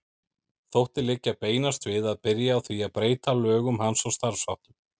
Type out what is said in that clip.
Þótti liggja beinast við að byrja á því að breyta lögum hans og starfsháttum.